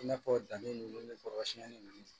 I n'a fɔ danni ninnu ni kɔrɔsiyɛnni ninnu